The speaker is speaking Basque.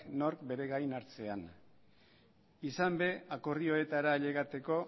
nor bere gain hartzean izan be akordioetara ailegatzeko